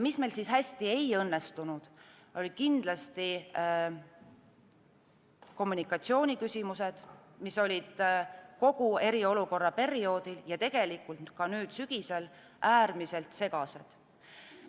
Mis meil hästi ei õnnestunud, olid kindlasti kommunikatsiooniküsimused, mis olid kogu eriolukorra perioodil ja on tegelikult ka nüüd sügisel äärmiselt segased.